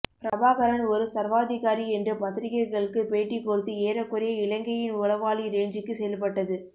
பிரபாகரன் ஒரு சர்வாதிகாரி என்று பத்திரிக்கைகளுக்கு பேட்டி கொடுத்து ஏறக்குறைய இலங்கையின் உளவாளி ரேஞ்சுக்கு செயல்பட்டது